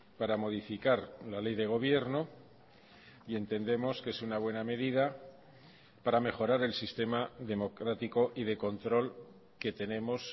para modificar la ley de gobierno y entendemos que es una buena medida para mejorar el sistema democrático y de control que tenemos